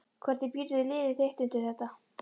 Hvernig býrðu liðið þitt undir þetta?